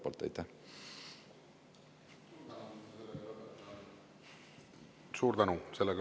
Suur tänu!